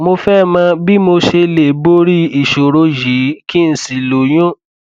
mo fẹ mọ bí mo ṣe lè borí ìṣòro yìí kí n sì lóyún